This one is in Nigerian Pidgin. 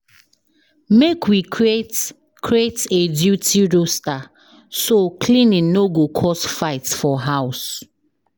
Make we create create a duty roster so cleaning no go cause fight for house.